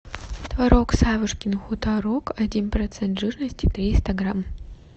творог савушкин хуторок один процент жирности триста грамм